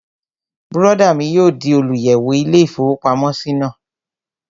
Bùrọ̀dá mi yóò di olùyẹ̀wò ilé-ìfowópamọ́sí náà